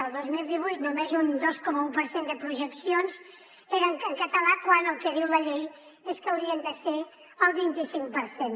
el dos mil divuit només un dos coma un per cent de projeccions eren en català quan el que diu la llei és que haurien de ser el vint i cinc per cent